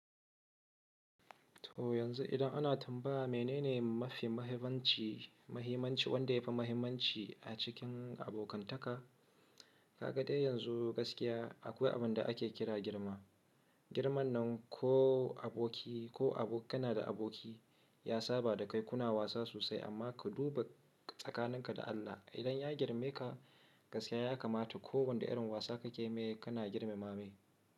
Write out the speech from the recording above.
To yanzu idan ana tambaya menene mafi mahimmanci, mahimmanci wanda yafi mahimmanci a cikin abokantaka, kaga dai yanzu gaskiya akwai abinda ake kira girma. Girman nan ko aboki ko abokina da aboki ya saba dakai kuna wasa sosai amma ka duba tsakaninka da Allah. Idan ya girmeka, gaskiya ya kamata ko wanda irin wasa kakeme kana girmama mai.